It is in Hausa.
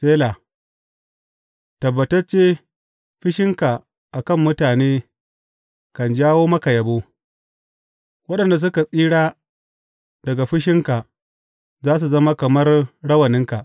Sela Tabbatacce fushinka a kan mutane kan jawo maka yabo, waɗanda suka tsira daga fushinka za su zama kamar rawaninka.